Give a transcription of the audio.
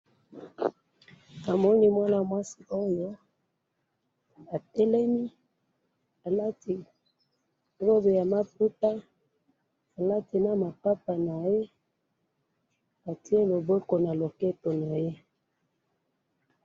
namoni mwanamwasi oyo atelemi alati roube maputa alatinamapapa naye atiye lobokona loketo naye